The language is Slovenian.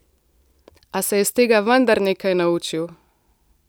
A se je iz tega vendar nekaj naučil.